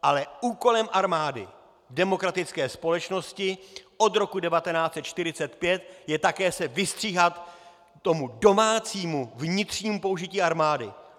Ale úkolem armády demokratické společnosti od roku 1945 je také se vystříhat tomu domácímu, vnitřnímu použití armády.